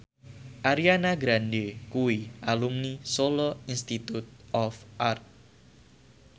Ariana Grande kuwi alumni Solo Institute of Art